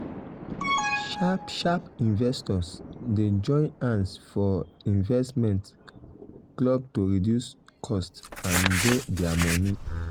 sharp sharp investors dey join hands for um investment um club to reduce cost and um grow their money.